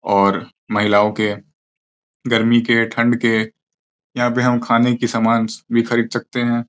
और महिलाओं के गर्मी के ठंड के यहां पे हम खाने की सामान भी खरीद सकते हैं।